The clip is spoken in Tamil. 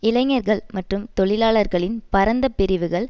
இளைஞர்கள் மற்றும் தொழிலாளர்களின் பரந்த பிரிவுகள்